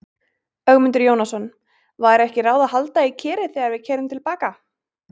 Ögmundur Jónasson: Væri ekki ráð að halda í Kerið þegar við keyrum til baka?